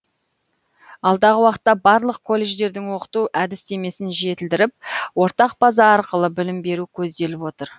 алдағы уақытта барлық колледждердің оқыту әдістемесін жетілдіріп ортақ база арқылы білім беру көзделіп отыр